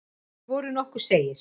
Þeir voru nokkuð seigir.